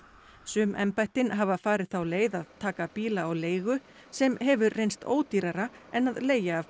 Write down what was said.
sum embættin hafa farið þá leið að taka bíla á leigu sem hefur reynst ódýrara en að leigja af